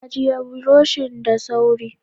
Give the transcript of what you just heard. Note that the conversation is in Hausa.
Ajiye buroshin da sauri.